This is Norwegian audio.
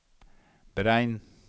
beregn